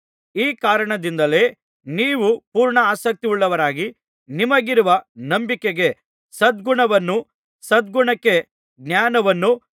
ಈ ಕಾರಣದಿಂದಲೇ ನೀವು ಪೂರ್ಣಾಸಕ್ತಿಯುಳ್ಳವರಾಗಿ ನಿಮಗಿರುವ ನಂಬಿಕೆಗೆ ಸದ್ಗುಣವನ್ನೂ ಸದ್ಗುಣಕ್ಕೆ ಜ್ಞಾನವನ್ನೂ